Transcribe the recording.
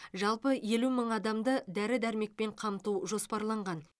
жалпы елу мың адамды дәрі дәрмекпен қамту жоспарланған